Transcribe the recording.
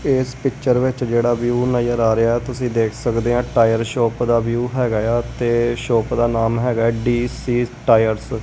ਇਸ ਪਿਕਚਰ ਵਿੱਚ ਜੇਹੜਾ ਵਿਊ ਨਜਰ ਆ ਰਿਹਾ ਹੈ ਤੁਸੀਂ ਦੇਖ ਸਕਦੇ ਹਾਂ ਟਾਇਰ ਸ਼ੌਪ ਦਾ ਵਿਊ ਹੈਗਾ ਆ ਤੇ ਸ਼ੌਪ ਦਾ ਨਾਮ ਹੈਗਾ ਹੈ ਡੀ_ਸੀ ਟਾਇਰਸ ।